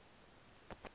sandf